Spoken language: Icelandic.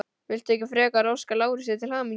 Viltu ekki frekar óska Lárusi til hamingju?